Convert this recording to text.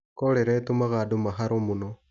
Korera ĩtũmaga andũ maharo mũno.